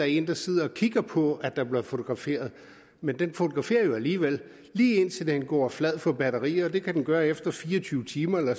en der sidder og kigger på at der bliver fotograferet men den fotograferer jo alligevel lige indtil den går flad på batteriet det kan den gøre efter fire og tyve timer eller